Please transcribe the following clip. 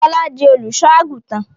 Fọlá di olùṣọ́-àgùntàn?